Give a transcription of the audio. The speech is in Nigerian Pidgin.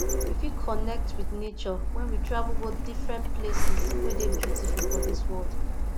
we fit connect with nature when we travel go different places wey de beautiful for dis world